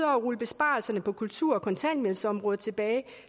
rulle besparelserne på kultur og kontanthjælpsområdet tilbage